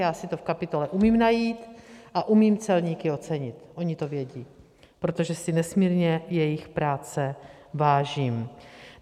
Já si to v kapitole umím najít a umím celníky ocenit, oni to vědí, protože si nesmírně jejich práce vážím.